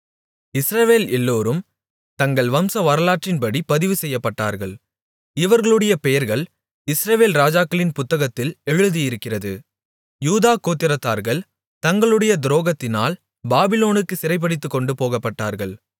இஸ்ரவேல் எல்லோரும் தங்கள் வம்சவரலாற்றின்படி பதிவுசெய்யப்பட்டார்கள் இவர்களுடைய பெயர்கள் இஸ்ரவேல் ராஜாக்களின் புத்தகத்தில் எழுதியிருக்கிறது யூதா கோத்திரத்தார்கள் தங்களுடைய துரோகத்தினால் பாபிலோனுக்கு சிறைபிடித்துக்கொண்டுபோகப்பட்டார்கள்